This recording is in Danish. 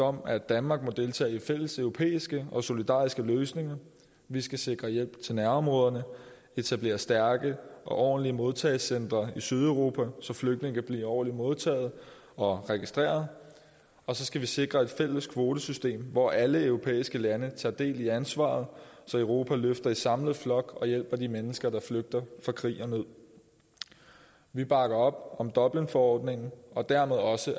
om at danmark må deltage i fælles europæiske og solidariske løsninger vi skal sikre hjælp til nærområderne etablere stærke og ordentlige modtagelsescentre i sydeuropa så flygtninge kan blive ordentligt modtaget og registreret og så skal vi sikre et fælles kvotesystem hvor alle europæiske lande tager del i ansvaret så europa løfter i samlet flok og hjælper de mennesker der flygter fra krig og nød vi bakker op om dublinforordningen og dermed også